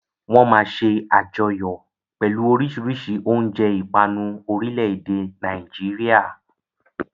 Wọ́n máa ṣe àjọyọ̀ pẹ̀lú oríṣiríṣi oúnjẹ ìpanu orílẹ̀-èdè Nàìjíríà.